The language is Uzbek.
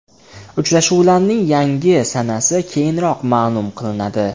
Uchrashuvlarning yangi sanasi keyinroq ma’lum qilinadi.